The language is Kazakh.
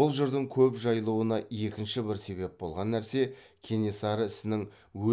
бұл жырдың көп жайылуына екінші бір себеп болған нәрсе кенесары ісінің